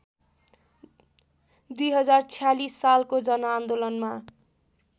२०४६ सालको जनआन्दोलनमा